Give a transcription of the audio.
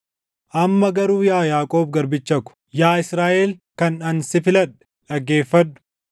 “Amma garuu yaa Yaaqoob garbicha ko, yaa Israaʼel kan ani si filadhe, dhaggeeffadhu.